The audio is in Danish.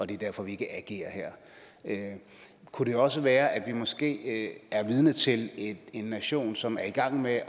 det er derfor vi ikke agerer her kunne det også være at vi måske er vidne til en nation som er i gang med at